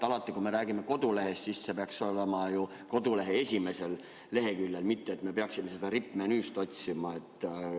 Alati, kui me räägime kodulehest, peaks see ju olema kodulehe esimesel leheküljel, mitte et me peaksime seda rippmenüüst otsima.